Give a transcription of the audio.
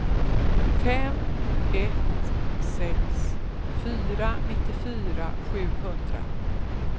fem ett sex fyra nittiofyra sjuhundra